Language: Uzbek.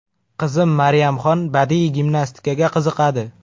Qizim Maryamxon badiiy gimnastikaga qiziqadi.